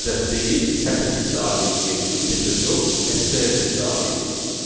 ədəd deyil, sətr tipli obyekt, yəni integer yox, STR tipli obyektdir.